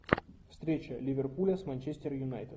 встреча ливерпуля с манчестер юнайтед